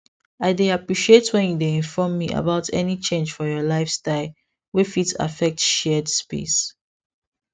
i dey appreciate when you dey inform me about any change for your lifestyle wey fit affect shared space